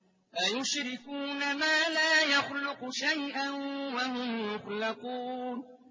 أَيُشْرِكُونَ مَا لَا يَخْلُقُ شَيْئًا وَهُمْ يُخْلَقُونَ